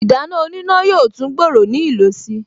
Ìdáná oníná yóò tún gbòòrò ní ìlò si